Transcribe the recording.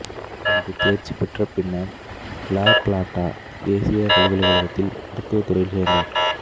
அங்கு தேர்ச்சி பெற்றபின்னர் இலா பிளாட்டா தேசியகப் பல்கலைக்கழகத்தில் மருத்துவத் துறையில் சேர்ந்தார்